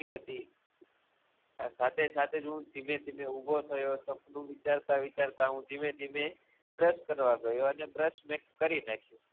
સાથે સાથેજ હું ધીમેધીમે ઉભો થયો સપનું વિચારતા વિચારતા હું ધીમે ધીમે બ્રશ કરવા ગ્યો અને બ્રશ મે કરી નાખ્યું